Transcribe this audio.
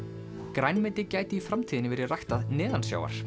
grænmeti gæti í framtíðinni verið ræktað